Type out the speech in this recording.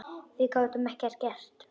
Og við gátum ekkert gert.